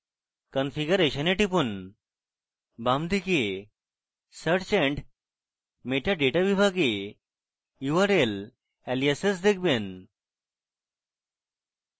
configuration এ টিপুন বামদিকে search and metadata বিভাগে url aliases দেখবেন